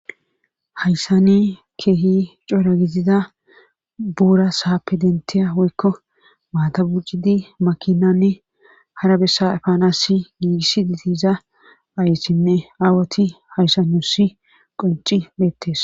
hayssani keehi coora gizida buura saappe denteya woykko maatabuccidi makinanne hara bessa afaanasi giigissi ditiza ayssinne aawoti hayssanusi qonci beettes